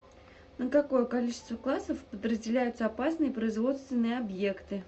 на какое количество классов подразделяются опасные производственные объекты